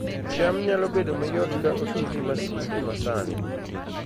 cham nyalo bedo mayot ka oti gi masinde masani